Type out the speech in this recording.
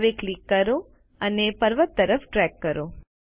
હવે ક્લિક કરો અને પર્વત તરફ ડ્રેગ કરો